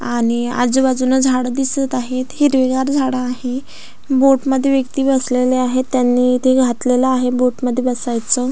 आणि आजूबाजून झाड दिसत आहेत हिरवीगार झाड आहे बोट मध्ये व्यक्ती बसलेले आहेत त्यांनी ते घातलेलं आहे बोट मध्ये बसायचं.